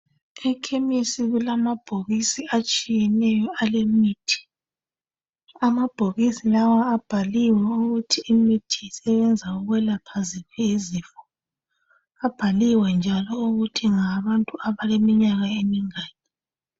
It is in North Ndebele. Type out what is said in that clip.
Ekhemisi kulamabhokisi atshiyeneyo alemithi. Amabhokisi lawa abhaliwe ukuthi imithi isebenza ukwelapha ziphi izifo. Abhaliwe njalo ukuthi ngawabantu abaleminyaka emingaki.